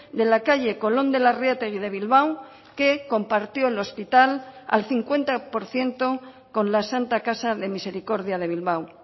de la calle colón de larreategui de bilbao que compartió el hospital al cincuenta por ciento con la santa casa de misericordia de bilbao